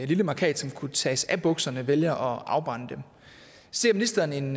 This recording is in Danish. lille mærkat som kunne tages af bukserne vælger at afbrænde dem ser ministeren en